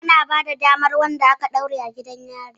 Ana bada damar ganin wanda aka ɗaure a gidan yari